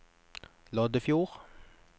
Loddefjord